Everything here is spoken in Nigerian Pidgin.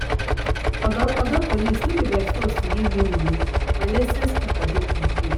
oga police no be by force to give you money my license paper complete